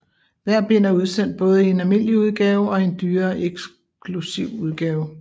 Hvert bind er udsendt både i en almindelig udgave og i en dyrere eksklusiv udgave